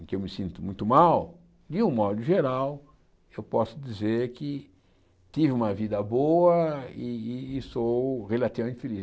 em que eu me sinto muito mal, de um modo geral, eu posso dizer que tive uma vida boa e e e sou relativamente feliz.